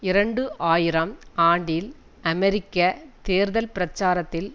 இரண்டு ஆயிரம் ஆண்டில் அமெரிக்க தேர்தல் பிரச்சாரத்தில்